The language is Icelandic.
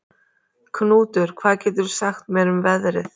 Knútur, hvað geturðu sagt mér um veðrið?